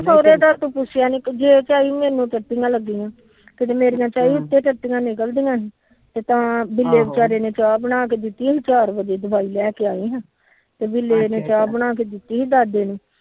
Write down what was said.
ਸੋਹਰੇ ਦਾ ਤਾ ਪੁੁਛਿਆ ਨੀ ਕਿਤੇ ਤੇ ਤਾ ਬਿਲੇ ਵਿਚਾਰੇ ਨੇ ਚਾਹ ਬਣਾ ਕੇ ਦਿੱਤੀ ਚਾਰ ਬਜੇ ਦਵਾਈ ਲਾਕੇ ਆਏ ਆ ਤੇ ਬਿਲੇ ਨੇ ਚਾਹ ਬਣਾ ਕੇ ਦਿੱਤੀ ਸੀ ਦਾਦੇ ਨੂੰ